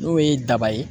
N'o ye daba ye